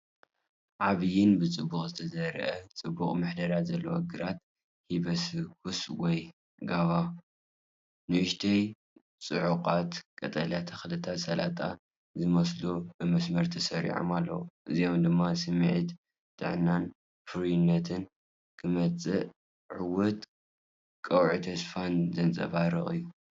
ዓቢይን ብጽቡቕ ዝተዘርአን ጽቡቕ ምሕደራ ዘለዎን ግራት ሂቢስኩስ ወይ ጓቫ። ንኣሽቱ ጽዑቓት ቀጠልያ ተኽልታት ሰላጣ ዝመስሉ ብመስርዕ ተሰሪዖም ኣለዉ። እዚ ድማ ስምዒት ጥዕናን ፍሩይነትን ክመጽእ ዕዉት ቀውዒ ተስፋን ዘንጸባርቕ እዩ።